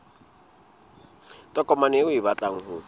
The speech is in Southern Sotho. tokomane eo o batlang ho